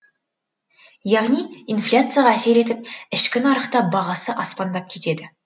яғни инфляцияға әсер етіп ішкі нарықта бағасы аспандап кетеді